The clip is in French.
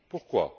Pourquoi?